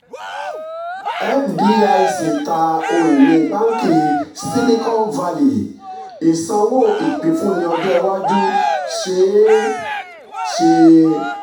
fdic ta ohun ìní báàǹkì silicon valley ìsanwó ìpínfúnni ọjọ́ iwájú ṣeé ṣe.